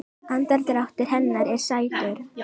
Andardráttur hennar er sætur.